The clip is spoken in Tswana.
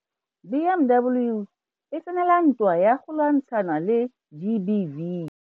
BMW e tsenela ntwa ya go lwantshana le GBV.